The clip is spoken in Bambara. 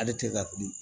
Ale tɛ ka fili